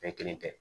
Bɛɛ kelen tɛ